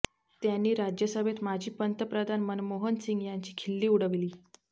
त्यांनी राज्यसभेत माजी पंतप्रधान मनमोहन सिंग यांची खिल्ली उडवली